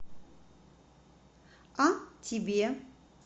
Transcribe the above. а тебе